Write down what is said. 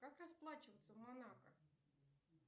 как расплачиваться в монако